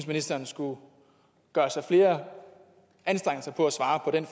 ministeren skulle gøre sig flere anstrengelser for at svare på den